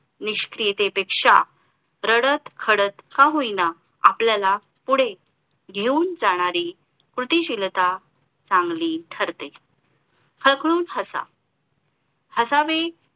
निष्क्रियतेपेक्षा रडत खडत का होईना आपल्याला पुढे घेऊन जाणारी कुटीशिलता चांगली ठरते खळखळून हसा हसावे